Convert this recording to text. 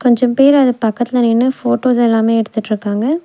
கொஞ்சம் பேர் அது பக்கத்துல நின்னு ஃபோட்டோஸ் எல்லாமே எடுத்துட்ருக்காங்க.